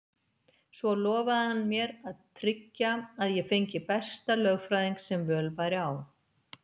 Svo lofaði hann mér að tryggja að ég fengi besta lögfræðing sem völ væri á.